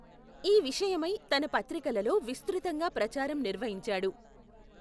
ఈ విషయమై తన పత్రికలలో విస్తృతంగా ప్రచారం నిర్వహించాడు.